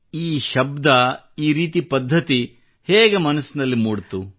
ಈ ಶಬ್ದ ಈ ರೀತಿ ಪದ್ಧತಿ ಹೇಗೆ ಮನದಲ್ಲಿ ಮೂಡಿತು